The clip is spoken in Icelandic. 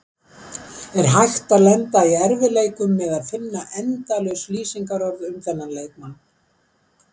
Er hægt að lenda í erfiðleikum með að finna endalaus lýsingarorð um þennan leikmann?